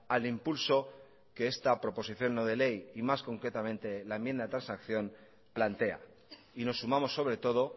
al impulso que esta proposición no de ley y más concretamente la enmienda de transacción plantea y nos sumamos sobre todo